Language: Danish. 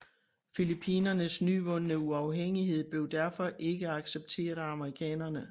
Filippinernes nyvundne uafhængighed blev derfor ikke accepteret af amerikanerne